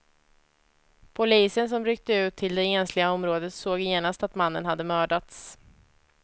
Polisen som ryckte ut till det ensliga området såg genast att mannen hade mördats.